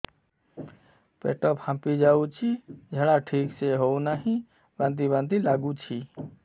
ପେଟ ଫାମ୍ପି ଯାଉଛି ଝାଡା ଠିକ ସେ ହଉନାହିଁ ବାନ୍ତି ବାନ୍ତି ଲଗୁଛି